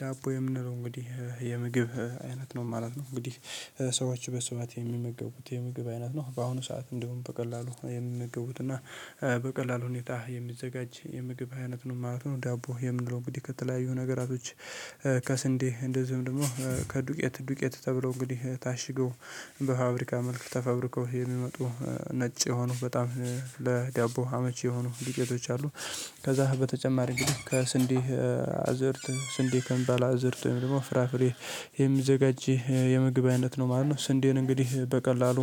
ዳቦ የምንለው እንግዲህ የምግብ አይነት ነው ማለት ነው። እንግዲህ ሰዎች በስፋት የሚመገቡት የምግብ አይነት ነው በአሁኑ ሰዓት እንግዲህ በቀላሉ የምገቡት እና በቀላሉ ሁኔታ የሚዘጋጅ የምግብ አይነት ነው ማለት ነው። ዳቦ የምንለው እንግዲህ ከተለያዩ ነገሮች ከስንዴ እንደዚሁም ደግሞ ከዱቄት ዱቄት ተብሎ እንግዲህ ታሽገው በፋብሪካ መልክ ተፈብርከው የሚመጡ ነጭ የሆኑ በጣም ለዳቦ አመቺ የሆኑ ዲቄቶች አሉ። ከዛ በተጨማሪ እንግዲህ ከስንዴ አዝርት ስንዴ ከሚባል አዘርት ደግሞ ፍራፍሬ የሚዘጋጅ የምግብ አይነት ነው ማለት ነው። ስንዴን እንግዲህ በቀላሉ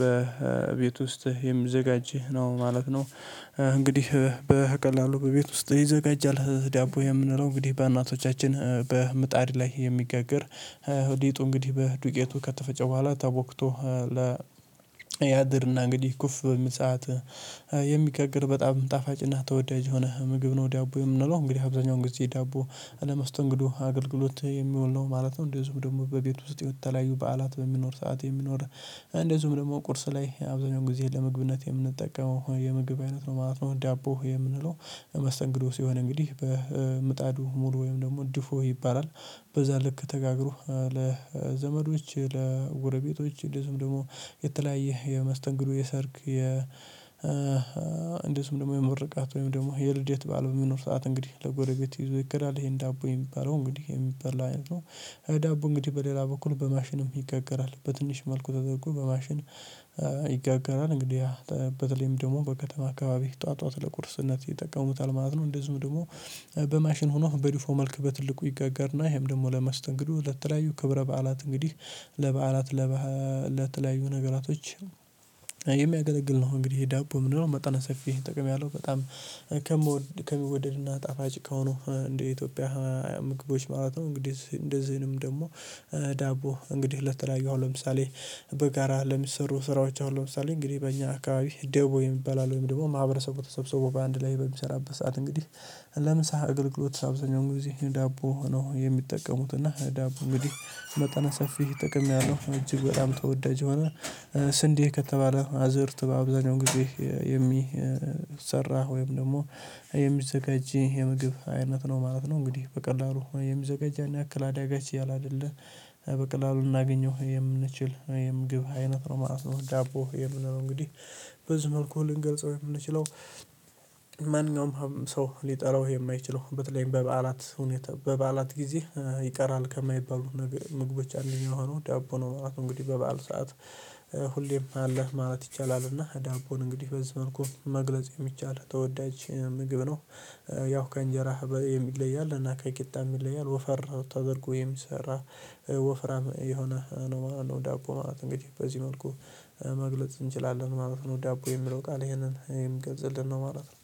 በቤት ውስጥ የሚዘጋጅ ነው ማለት ነው። እንግዲህ በቀላሉ በቤት ውስጥ ይዘጋጃል። ዳቦ የምንለው እንግዲህ በእናቶቻችን በምጣድ ላይ የሚገግር ሊጡ እንግዲህ በዱቄቱ ከተፈጨ በኋላ ተቦክቶ ያድርና እንግዲህ ኩፍ በሚል ሰዓት የሚጋገር በጣም ጣፋጭና ተወዳጅ ሆምግብ ነው ዳቦ የምንለው። እንግዲህ አብዛኛው ጊዜ ዳቦ ለማስተንገዶ አገልግሎት የሚውል ነው ማለት ነው። እንደዚሁም ደግሞ በቤት ውስጥ የተለያዩ በዓላት በሚኖር ሰዓት የሚኖር እንደዚሁም ደግሞ ቁርስ ላይ አብዛኛው ጊዜ ለምግብነት የምንጠቀመው የምግብ አይነት ነው ማለት ነው። ዳቦ የምንለው መስተንግዶ ሲሆን እንግዲህ በምጣዱ ሙሉ ወይም ደግሞ ድፎ ይባላል። በዛ ልክ ተጋግሮ ለዘመዶች፤ ለጎረቤቶች እንደዚሁም ደግሞ የተለያየ የመስተንግዶ የሰርግ የ እንደዚሁም ደግሞ የምርቃት ወይም ደግሞ የልደት ባለው የሚኖር ሰዓት እንግዲህ ለጎረጌት ይዞ ይኬዳል። ይሄን ዳቦ የሚባለው እንግዲህ የሚበልፀላ አይነት ነው። ዳቦ እንግዲህ በሌላ በኩል በማሽንም ይጋገራል። በትንሽ መልኩ ተደርጎ በማሽን ይጋገራል እንግዲህ በተለይም ደግሞ በከተማ አካባቢ ጠዋት ጠዋት ለቁርስነት ይጠቀሙታል ማለት ነው። እንደዚሁም ደግሞ በማሽን ሆኖ በድፎ መልክ በትልቁ ይጋገርና ይሄም ደግሞ ለመስተንግዱ ለተለያዩ ክብረ በዓላት እንግዲህ ለበዓላት ለተለያዩ ነገራቶች የሚያገለግል ነው። እንግዲህ ዳቦ ምንድነው መጠነ ሰፊ ጥቅም ያለው በጣም ከሚወደድ ከሚወደድና ጣፋጭ ከሆኑ እንደ ኢትዮጵያ ምግቦች ማለት ነው። እንግዲህ እንደዚህንም ደግሞ ዳቦ እንግዲህ ለተለያዩ ለምሳሌ በጋራ ለሚሰሩ ስራዎች አሉ ለምሳሌ እንግዲህ በእኛ አካባቢ ደቦ የሚባል አለው ወይም ደግሞ ማህበረሰቡ ተሰብስቦ በአንድ ላይ በሚሰራበት ሰዓት እንግዲህ ለምሳ አገልግሎት አገልግሎት እንግዲህ ዳቦ ነው የሚጠቀሙት እና ዳቦ እንግዲህ መጠነ ሰፊ ጥቅም ያለው እጅግ በጣም ተወዳጅ የሆነ ስንዴ ከተባለ አዝርት በአብዛኛው ጊዜ የሚሰራ ወይም ደግሞ የሚዘገጂ የምግብ አይነት ነው ማለት ነው። እንግዲህ በቀላሉ የሚዘጋጅ ያንያክል አዳጋች ያላይደለ በቀላሉ እናገኘው የምንችል የምግብ አይነት ነው ማለት ነው። ዳቦ የምንለው እንግዲህ በዚህ መልኩ ልንገልጸው የምንችለው ማንኛውም ሰው ሊጠላው የማይችለው በተለይም በበዓላት ሁኔታ በበዓላት ጊዜ ይቀራል ከማይባሉ ምግቦች አንደኛው ሆኖ ዳቦ ነው ማለት ነው። እንግዲህ በበዓል ሰዓት ሁሌም አለ ማለት ይቻላል እና ዳቦን እንግዲህ በዚህ መልኩ መግለጽ የሚቻል ተወዳጅ ምግብ ነው። ያው ከእንጀራ ይለያል እና ከቂጣ ይለያል ወፈር ተደርጎ የሚ ሰራ ወፍራም የሆነ ነው ማለትነው። ዳቦ እንግዲህ በዚህ መልኩ መግለጽ እንችላለን ማለት ነው ዳቦ የሚለው ቃል ይሄንን የሚገልፅልንነው ማለት ነው።